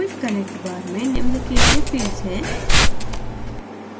quick connect bar में निम्न के लिए fields हैं